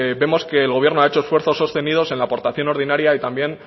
vemos que el gobierno ha hecho esfuerzos sostenido en la aportación ordinaria y también